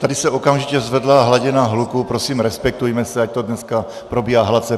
Tady se okamžitě zvedla hladina hluku, prosím respektujme se, ať to dneska probíhá hladce.